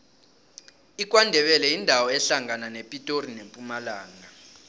ikwandebele yindawo ehlangana nepitori nempumalanga